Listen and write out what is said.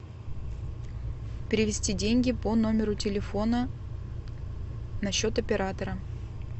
перевести деньги по номеру телефона на счет оператора